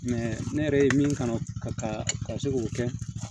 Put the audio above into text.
ne yɛrɛ ye min kalan ka se k'o kɛ